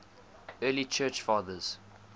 early church fathers